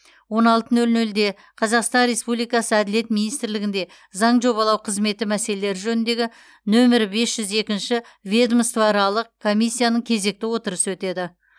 он алты нөл нөлде қазақстан республикасы әділет министрлігінде заң жобалау қызметі мәселелері жөніндегі нөмірі бес жүз екінші ведомствоаралық комиссияның кезекті отырысы өтеді